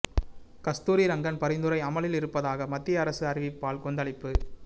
கஸ்தூரி ரங்கன் பரிந்துரை அமலில் இருப்பதாக மத்திய அரசு அறிவிப்பால் கொந்தளிப்பு